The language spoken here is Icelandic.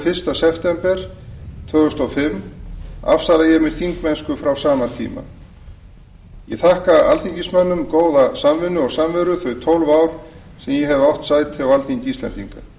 fyrsta september tvö þúsund og fimm afsala ég mér þingmennsku frá sama tíma ég þakka alþingismönnum góða samvinnu og samveru þau tólf ár sem ég hef átt sæti á alþingi íslendinga